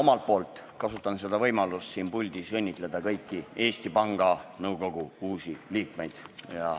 Ka mina kasutan võimalust siin puldis õnnitleda kõiki Eesti Panga Nõukogu uusi liikmeid.